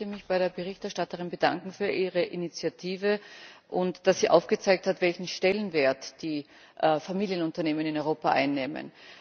Auch ich möchte mich bei der Berichterstatterin bedanken für ihre Initiative sowie dafür, dass sie aufgezeigt hat, welchen Stellenwert die Familienunternehmen in Europa einnehmen.